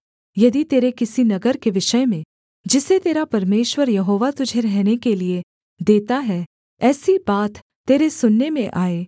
यदि तेरे किसी नगर के विषय में जिसे तेरा परमेश्वर यहोवा तुझे रहने के लिये देता है ऐसी बात तेरे सुनने में आए